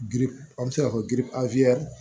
Giri an be se ka fɔ yiri a